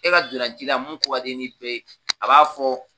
E ka dolancila mun ko ka d'i ye ni bɛɛ ye a b'a fɔ